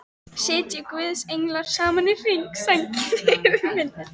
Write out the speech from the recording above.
Sitji guðs englar saman í hring, sænginni yfir minni.